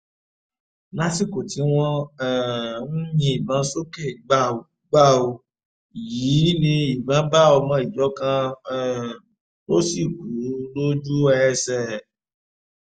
lásìkò tí wọ́n um ń yìnbọn sókè gbàù gbàù yìí ni ìbọn bá ọmọ ìjọ kan um tó sì kú lójú-ẹsẹ̀